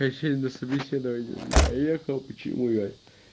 я сегодня на собеседование не поехал почему я